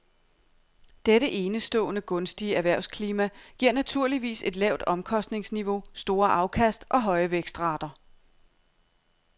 Dette enestående gunstige erhvervsklima giver naturligvis et lavt omkostningsniveau, store afkast og høje vækstrater.